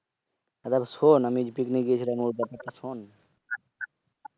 আরে শোন আমি যে Picnic গিয়েছিলাম ঐ কথাটা শোন।